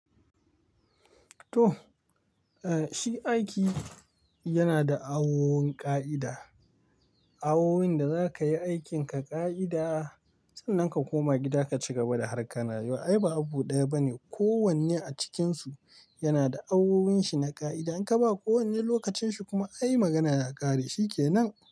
To, eh shi aiki yana da awowin ƙa'ida, awowin da za ka yi aikinka ƙa'ida. Saboda haka ka koma gida ka cigaba da harkar na yau, ai ba abu ɗaya bane. Ko wanne a cikinsu yana da awowin shi na ƙa'ida. In ka ba ko wanne lokacin shi kuma ayi magana ya ƙare, shi kenan.